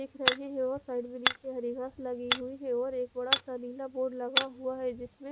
दिख रहे है और साइड में निचे हरी घास लगी हुई है और एक बड़ा सा नीला बोर्ड हुआ है जिसमे--